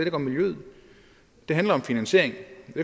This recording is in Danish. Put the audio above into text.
ikke om miljøet det handler om finansiering